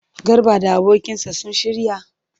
Garba da abokinsa sun shirya?